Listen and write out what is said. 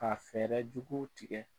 Ka fɛrɛ jugu tigɛ